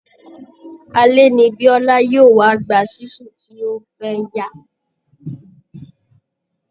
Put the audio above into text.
Alẹ ni Biọ́lá yóò wá gba ṣísù tí ó fẹ́yá